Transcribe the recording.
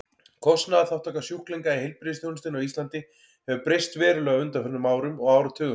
Kostnaðarþátttaka sjúklinga í heilbrigðisþjónustunni á Íslandi hefur breyst verulega á undanförnum árum og áratugum.